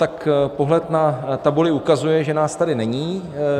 Tak pohled na tabuli ukazuje , že nás tady není -